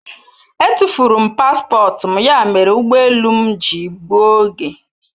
Etufuru m paspọtụ m ya mere ụgbọ elu m ji gbuo oge.